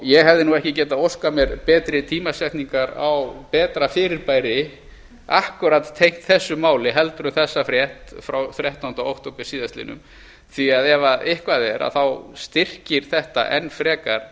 ég hefði nú ekki getað óskað mér betri tímasetningar á betra fyrirbæri akkúat tengt þessu máli en þessa frétt frá þrettánda október síðastliðinn því að ef eitthvað er styrkir þetta enn frekar